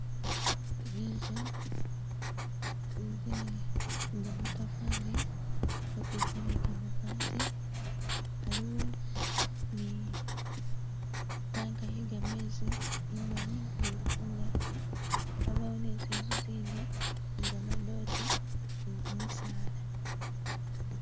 Zinzu ze gamatafali nga kuliko ni gamabaati, aliwo ni tank ye gamezi imali nga eli kungaji, yabawo ni zinzu zindi ni gamadote ni gyimisaala